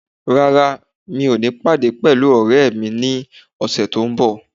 Rárá, mi ò ní pàdé pẹ̀lú ọ̀rẹ́ mi ní ọ̀sẹ̀ tó n bọ̀